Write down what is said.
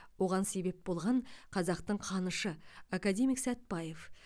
оған себеп болған қазақтың қанышы академик сәтбаев